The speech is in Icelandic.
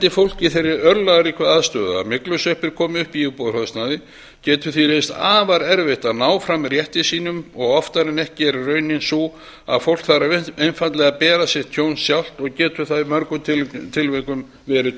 í þeirri örlagaríku aðstöðu að myglusveppir komi upp í íbúðarhúsnæði getur því reynst afar erfitt að ná fram rétti sínum og oftar en ekki er raunin sú að fólk þarf einfaldlega að bera sitt tjón sjálft og getur það í mörgum tilvikum verið